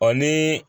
O ni